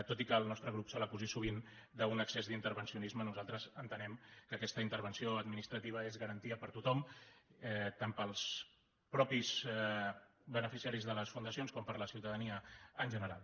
tot i que al nostre grup se l’acusi sovint d’un excés d’intervencionisme nosaltres entenem que aquesta intervenció administrativa és garantia per a tothom tant per als mateixos beneficiaris de les fundacions com per a la ciutadania en general